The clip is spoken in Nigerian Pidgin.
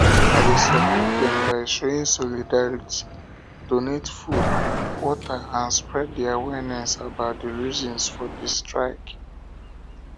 i dey support dem by showing solidarity donate food water and spread di awareness about di reasons for di strike